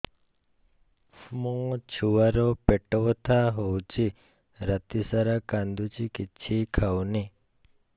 ମୋ ଛୁଆ ର ପେଟ ବଥା ହଉଚି ରାତିସାରା କାନ୍ଦୁଚି କିଛି ଖାଉନି